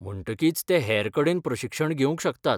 म्हणटकीच ते हेर कडेन प्रशिक्षण घेवंक शकतात.